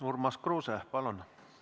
Urmas Kruuse, palun!